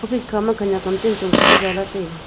office kha ma khenek am chen chong kho ma ja la taiga.